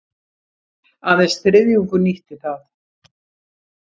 Aðeins þriðjungur nýtti það